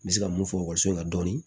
N bɛ se ka mun fɔ ekɔliso in na dɔɔnin